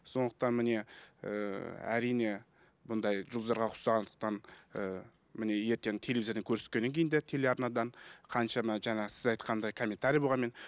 сондықтан міне ііі әрине бұндай жұлдыздарға ұқсағандықтан ііі міне ертең телевизордан көрсеткеннен кейін де телеарнадан қаншама жаңағы сіз айтқандай комментарий болғанмен